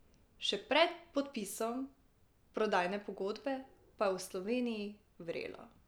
Še pred podpisom prodajne pogodbe pa je v Sloveniji vrelo.